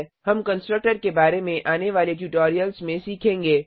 हम कंस्ट्रक्टर के बारे में आने वाले ट्यूटोरियल्स में सीखेंगे